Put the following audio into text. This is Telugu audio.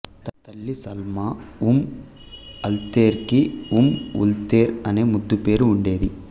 తల్లి సల్మా ఉమ్అల్ఖైర్కి ఉమ్ఉల్ఖైర్ అనే ముద్దు పేరు ఉండేది